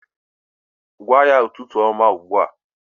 Gwa ya ụtụtụ ọma ugbu a